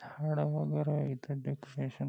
हाड वैगेरे आहे इथ --